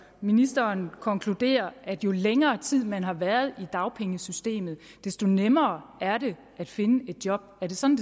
ministeren konkluderer at jo længere tid man har været i dagpengesystemet desto nemmere er det at finde et job er det sådan